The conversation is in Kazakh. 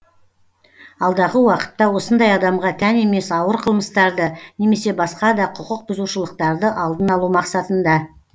алдағы уақытта осындай адамға тән емес ауыр қылмыстарды немесе басқа да құқық бұзушылықтарды алдын алу мақсатында